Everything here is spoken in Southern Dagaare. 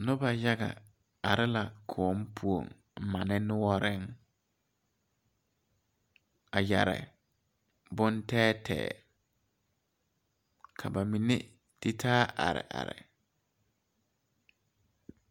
Noba yaga are la kõɔŋ poɔŋ mane noɔreŋ a yɛre bon tɛɛtɛɛ ka ba mine tititaa are are.